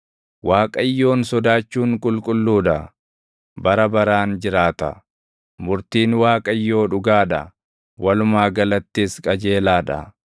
Waaqayyoon sodaachuun qulqulluu dha; bara baraan jiraata. Murtiin Waaqayyoo dhugaa dha; walumaa galattis qajeelaa dha.